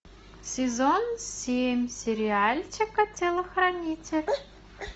сезон семь сериальчика телохранитель